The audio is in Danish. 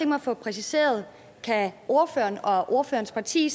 mig at få præciseret kan ordføreren og ordførerens parti